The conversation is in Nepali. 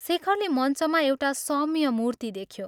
शेखरले मञ्चमा एउटा सौम्य मूर्ति देख्यो।